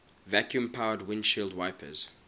vacuum powered windshield wipers